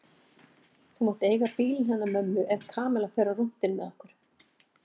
Þú mátt eiga bílinn hennar mömmu ef Kamilla fer á rúntinn með okkur